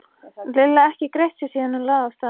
Lilla ekki greitt sér síðan hún lagði af stað.